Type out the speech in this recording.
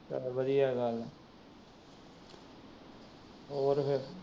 ਚੱਲ ਵਧੀਆ ਗੱਲ ਏ, ਹੋਰ ਫਿਰ।